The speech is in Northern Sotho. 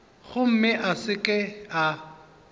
gomme a se ke a